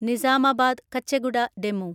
Nizamabad Kacheguda DEMU